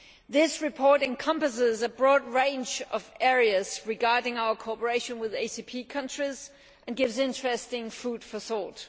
This report encompasses a broad range of areas regarding our cooperation with ACP countries and gives interesting food for thought.